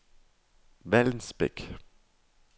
Vallensbæk